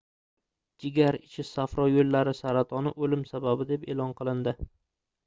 jigar ichi safro yoʻllari saratoni oʻlim sababi deb eʼlon qilindi